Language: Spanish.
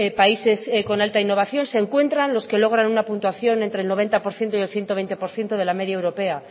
países con alta innovación se encuentran los que logran una puntuación entre el noventa por ciento y el ciento veinte por ciento de la media europea